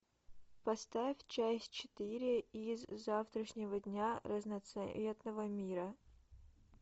поставь часть четыре из завтрашнего дня разноцветного мира